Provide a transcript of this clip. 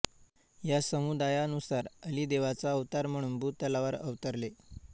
या समुदायानुसार अली देवाचा अवतार म्हणून भूतलावर अवतरले